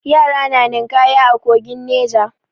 Yara na ninƙaya a kogin Neja.